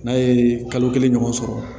N'a ye kalo kelen ɲɔgɔn sɔrɔ